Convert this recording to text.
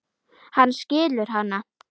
Hann skilur hana.